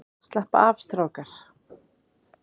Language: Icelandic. Slappa af strákar!